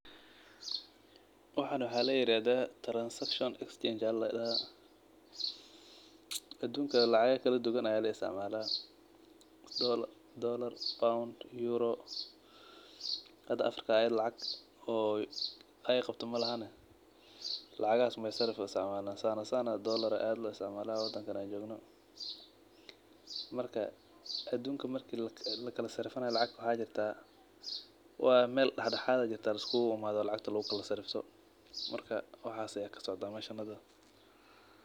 Waxan waxa liyarad transection exchange adunkan lacaga kaladuwan aya laistacamala; dolar pound, Euro hada Africa lacag ay qabto malahan lacagas umbaay sarafeysa sanasana dolar aya ad loistacmala wadanka an jogno, marka adunka marki laka sarafana lacagta waxa jirta mel daxdaxad aa jirta liskugu imado lacagta lagu sarafto marka waxas aya kasocdo mesha hada.